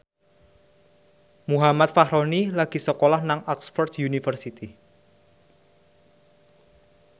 Muhammad Fachroni lagi sekolah nang Oxford university